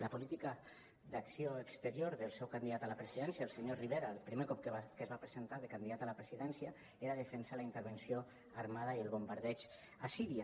la política d’acció exterior del seu candidat a la presidència el senyor rivera el primer cop que es va presentar de candidat a la presidència era defensar la intervenció armada i el bombardeig a síria